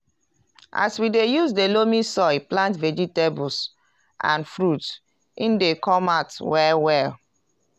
as we dey use the loamy soil plant vegetables and fruits e dey come out well well.